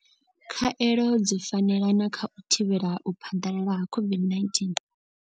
Khaelo dzi fanelana kha u thivhela u phaḓalala COVID-19.